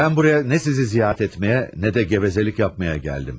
Ben buraya ne sizi ziyaret etmeye, ne de gevezelik yapmaya geldim.